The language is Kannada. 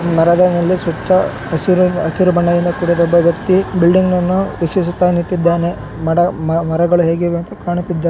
ಮರ ಮೇಲೆ ಸುತ್ತ ಹಸಿರು ಹಸಿರು ಬಣ್ಣದಿಂದ ಕೂಡಿದ ಒಬ್ಬ ವ್ಯಕ್ತಿ ಬಿಲ್ಡಿಂಗ್ ನನ್ನು ವೀಕ್ಷಿಸುತ್ತಾ ನಿತ್ತಿದಾನೆ. ಮಡ ಮರಗಳು ಹೇಗ್ ಇವೆ ಅಂತಾ ಕಾಣುತ್ತಿದಾ --